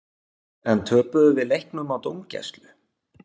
En töpuðum við leiknum á dómgæslu?